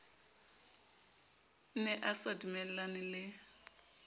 ne a sa dumellane le